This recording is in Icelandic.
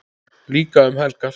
Líka um helgar.